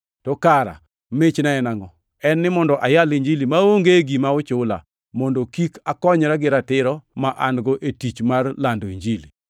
To kara michna en angʼo? En ni mondo ayal Injili maonge gima ochula, mondo kik akonyra gi ratiro ma an-go e tich mar lando Injili.